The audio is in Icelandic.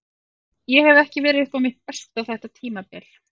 Ég hef ekki verið upp á mitt besta þetta tímabil.